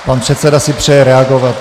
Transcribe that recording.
Pan předseda si přeje reagovat.